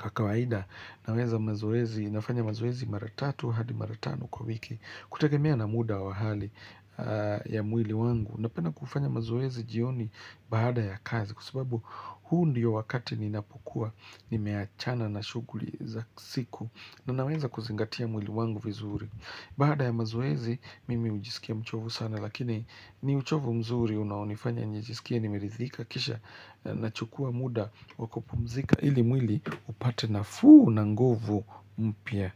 Kwa kawaida Naweza mazoezi, nafanya mazoezi mara tatu hadi mara tano kwa wiki Kutagemea na muda wa hali ya mwili wangu Napenda kufanya mazoezi jioni baada ya kazi Kwa sababu huu ndiyo wakati ninapokua nimeachana na shughuli za siku na naweza kuzingatia mwili wangu vizuri Baada ya mazoezi, mimi hujisikia mchovu sana Lakini ni uchovu mzuri unaonifanya njijisikie nimeridhika kisha nachukua muda kwa kupumzika ili mwili upate nafuu na nguvu mpya.